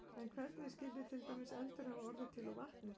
En hvernig skyldi til dæmis eldur hafa orðið til úr vatni?